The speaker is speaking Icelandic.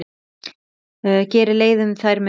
Gerði leið um þær mundir.